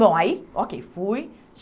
Bom, aí, ok, fui.